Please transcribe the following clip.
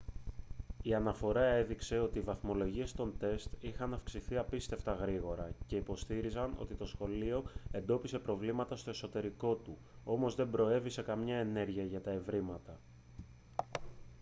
η αναφορά έδειξε ότι οι βαθμολογίες των τεστ είχαν αυξηθεί απίστευτα γρήγορα και υποστήριζαν ότι το σχολείο εντόπισε προβλήματα στο εσωτερικό του όμως δεν προέβη σε καμία ενέργεια για τα ευρήματα